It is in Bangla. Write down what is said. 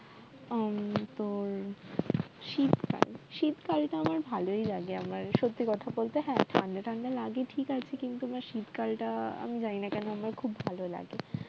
উম তো শীতকাল শীতকাল তো আমার ভালই লাগে আমার সত্যি কথা বলতে হ্যাঁ ঠাণ্ডা ঠাণ্ডা লাগে ঠিক আছে কিন্তু আমার শীতকালটা আমি জানিনা কেন আমার খুব ভাল লাগে